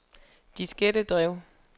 diskettedrev